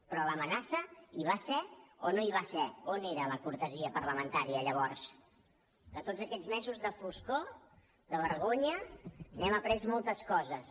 però l’amenaça hi va ser o no hi va ser on era la cortesia parlamentària llavors de tots aquests mesos de foscor de vergonya n’hem après moltes coses